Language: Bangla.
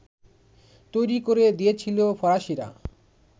তৈরি করে দিয়েছিল ফরাসিরা